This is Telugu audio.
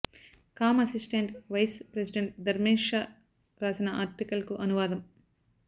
కాం assistant vice president Dharmesh Shah రాసిన ఆర్టికల్కు అనువాదం